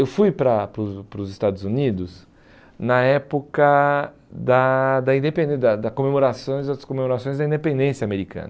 Eu fui para para os para os Estados Unidos na época da da independên da da da comemorações das comemorações da independência americana.